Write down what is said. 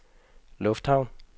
lufthavn